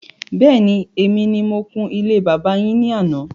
Bẹ́ẹ̀ni, èmi ni mo kun ilé bàbá yín ní àná